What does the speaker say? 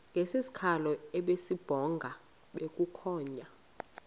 ngesikhalo esibubhonga bukhonya